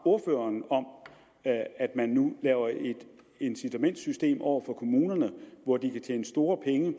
at at man nu laver et incitamentssystem over for kommunerne hvor de kan tjene store penge i